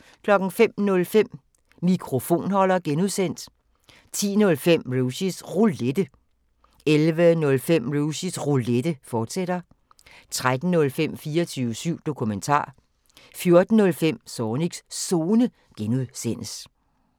05:05: Mikrofonholder (G) 10:05: Rushys Roulette 11:05: Rushys Roulette, fortsat 13:05: 24syv Dokumentar 14:05: Zornigs Zone (G)